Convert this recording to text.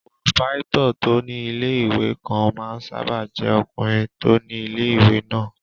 Pòròpáítọ̀ tó ní ilé-ìwé kan máa ń sáábà jẹ́ ọkùnrin tó ni ilé-ìwé náà